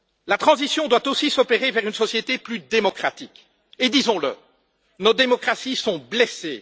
La transition doit aussi s'opérer vers une société plus démocratique et disons le nos démocraties sont blessées.